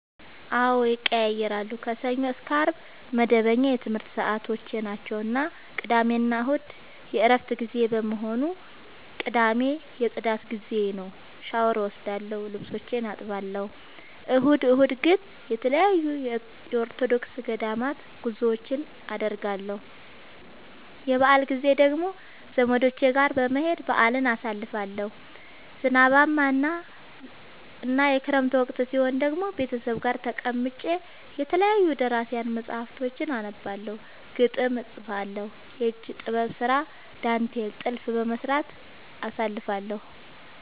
አዎድ ይቀየያራሉ። ከሰኞ እስከ አርብ መደበኛ የትምረት ሰዓቶቼናቸው ቅዳሜና እሁድ የእረፍት ጊዜ በመሆኑ። ቅዳሜ የፅዳት ጊዜዬ ነው። ሻውር እወስዳለሁ ልብሶቼን አጥባለሁ። እሁድ እሁድ ግን ተለያዩ የኦርቶዶክስ ገዳማት ጉዞወችን አደርገለሁ። የበአል ጊዜ ደግሞ ዘመዶቼ ጋር በመሄድ በአልን አሳልፋለሁ። ዝናባማ እና የክረምት ወቅት ሲሆን ደግሞ ቤተሰብ ጋር ተቀምጬ የተለያዩ ደራሲያን መፀሀፍቶችን አነባለሁ፤ ግጥም እጥፋለሁ፤ የእጅ ጥበብ ስራ ዳንቴል ጥልፍ በመስራት አሳልፍለሁ።